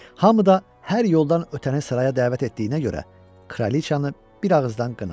Hamı da hər yoldan ötəni saraya dəvət etdiyinə görə kraliçanı bir ağızdan qınadı.